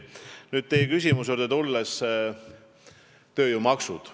Tulen nüüd teie küsimuse juurde – tööjõumaksud.